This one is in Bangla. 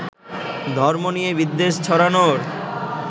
ধর্ম নিয়ে বিদ্বেষ ছড়ানোর